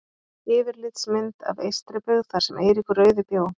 Yfirlitsmynd af Eystribyggð þar sem Eiríkur rauði bjó.